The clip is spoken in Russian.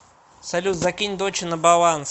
салют закинь доче на баланс